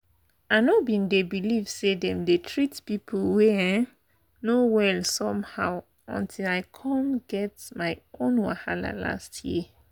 i no bin dey believe say dem dey treat people wey um no well somehow until i come get my own wahala last year.